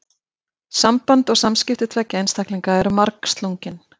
Samband og samskipti tveggja einstaklinga eru margslungin.